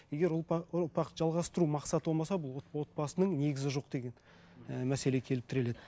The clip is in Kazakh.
егер ұрпақты жалғастыру мақсаты болмаса бұл отбасының негізі жоқ деген ііі мәселе келіп тіреледі